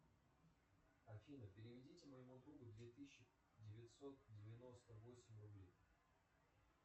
афина переведите моему другу две тысячи девятьсот девяносто восемь рублей